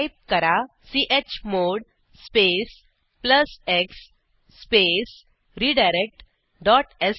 type करा chmod space plus x space redirect dot श